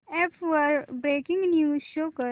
app वर breaking news show कर